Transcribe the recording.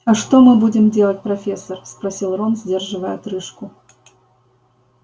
а что мы будем делать профессор спросил рон сдерживая отрыжку